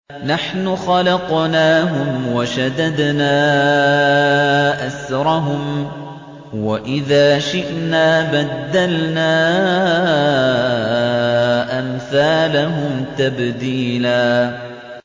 نَّحْنُ خَلَقْنَاهُمْ وَشَدَدْنَا أَسْرَهُمْ ۖ وَإِذَا شِئْنَا بَدَّلْنَا أَمْثَالَهُمْ تَبْدِيلًا